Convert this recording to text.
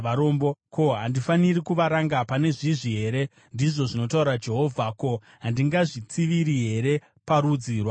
Ko, handifaniri kuvaranga pane izvi here?” ndizvo zvinotaura Jehovha. “Ko, handingazvitsiviri here parudzi rwakadai?